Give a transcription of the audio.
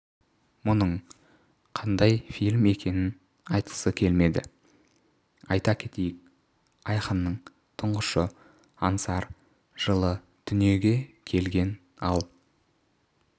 мұның қандай фильм екенін айтқысы келмеді айта кетейік айқынның тұңғышы аңсар жылы дүниее келген ал